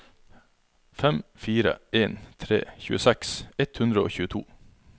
fem fire en tre tjueseks ett hundre og tjueto